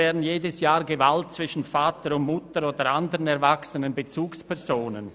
Bern erleben jedes Jahr Gewalt zwischen Vater und Mutter oder anderen erwachsenen Bezugspersonen.